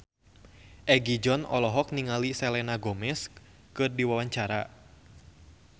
Egi John olohok ningali Selena Gomez keur diwawancara